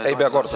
Ei pea kordama.